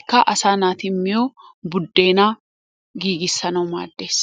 Ikka asaa naati miyo buddeenaa giiggissanawu maaddees.